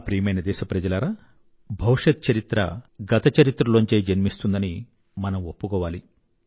నా ప్రియమైన దేశప్రజలారా భవిష్యత్ చరిత్ర గత చరిత్రలోంచే జన్మిస్తుందని మనం ఒప్పుకోవాలి